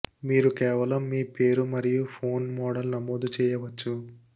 మీరు కేవలం మీ పేరు మరియు ఫోన్ మోడల్ నమోదు చేయవచ్చు